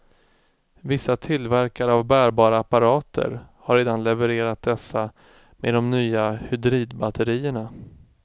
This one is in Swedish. Vissa tillverkare av bärbara apparater har redan levererat dessa med de nya hydridbatterierna.